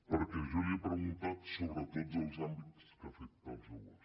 perquè jo li he preguntat sobre tots els àmbits que afecten els joves